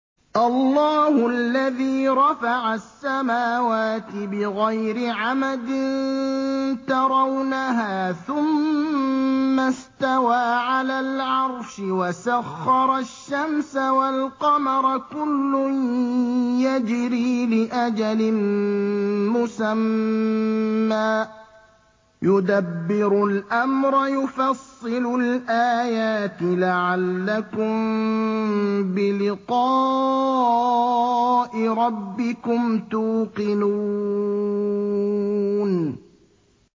اللَّهُ الَّذِي رَفَعَ السَّمَاوَاتِ بِغَيْرِ عَمَدٍ تَرَوْنَهَا ۖ ثُمَّ اسْتَوَىٰ عَلَى الْعَرْشِ ۖ وَسَخَّرَ الشَّمْسَ وَالْقَمَرَ ۖ كُلٌّ يَجْرِي لِأَجَلٍ مُّسَمًّى ۚ يُدَبِّرُ الْأَمْرَ يُفَصِّلُ الْآيَاتِ لَعَلَّكُم بِلِقَاءِ رَبِّكُمْ تُوقِنُونَ